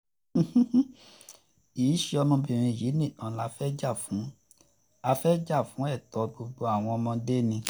kì í ṣe ọmọbìnrin yìí nìkan la fẹ́ẹ́ jà fún a fẹ́ẹ́ jà fún ẹ̀tọ́ gbogbo àwọn ọmọdé ni